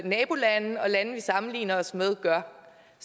nabolande og lande vi sammenligner os med gør